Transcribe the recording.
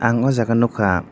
ang aw jaaga o nugka.